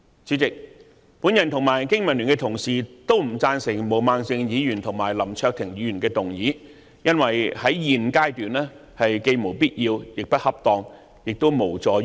主席，我及香港經濟民生聯盟的同事均不贊成毛孟靜議員和林卓廷議員的議案，因為在現階段既無必要，亦不恰當，亦無助於解決問題。